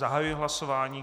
Zahajuji hlasování.